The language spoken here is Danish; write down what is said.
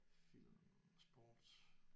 Film sport